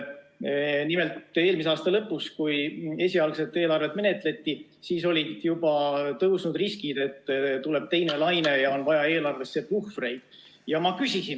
Nimelt, juba eelmise aasta lõpus, kui esialgset eelarvet menetleti, olid tõusnud riskid, et tuleb teine laine ja eelarvesse on vaja puhvreid.